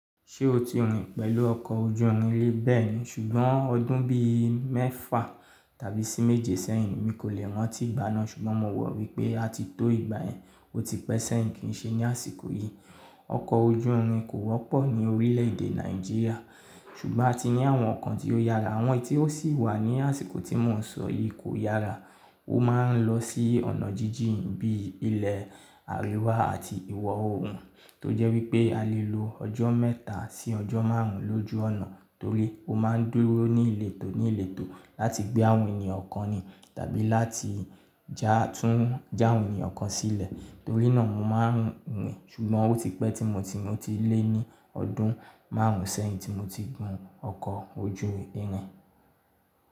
Ṣé o ti rin pẹ̀lú ọkọ̀ ojú irin rí? Bẹ́ẹ̀ni, ṣùgbọ́n ọdún bí i mẹ́fà tàbí sí méje sẹ́yìn, mi kò lè rántí ìgbà náà. Ṣùgbọ́n mo wò wípé áti tó ìgbà yẹn, ó ti pẹ́ sẹ́yìn kí n ṣe ní àsìkò yìí. Ọkọ̀ ojú irin kò wọ́pọ̀ ní orílẹ̀ èdè Nàìjíríà, ṣùgbọ́n a ti ní àwọn kan tí ó yára. Àwọn eyi tí ó sì wà ní àsìkò tí mò ń sọ yìí kò yára. Ó máa ń lọ sí ọ̀nà jíjìn bí i ilẹ̀ àríwá àti ìwọ̀ oòrùn, tó jẹ́ wípé a lè lo ọjọ́ mẹ́ta sí ọjọ́ márùn ún lójú ọ̀nà torí ó máa ń dúró ní ìletò ní ìletò láti gbé àwọn ènìyàn kan ni tàbí láti tún já àwọn ènìyàn kan sílẹ̀. Torí náà mo máa ń rin, ṣùgbọ́n ó ti pẹ́ tí mo ti lé ní ọdún márùn ún sẹ́yìn tí mo ti gun ọkọ̀ ojú irin.